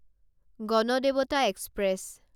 Ganadevata express